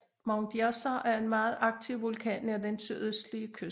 Mount Yasur er en meget aktiv vulkan nær den sydøstlige kyst